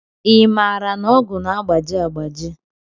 I maara na ọgụ na-agbaji agbaji?